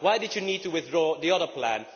Why did you need to withdraw the other plan?